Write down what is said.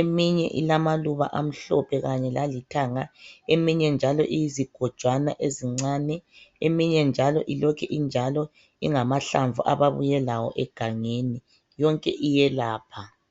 eminye ilamaluba amhlophe kanye lalithanga eminye njalo iyizigojwana ezincane eminye njalo ilokhu injalo ingamahlamvu ababuye lawo egangeni yonke iyelapha.